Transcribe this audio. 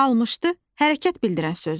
Almışdı hərəkət bildirən sözdür.